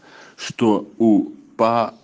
что у по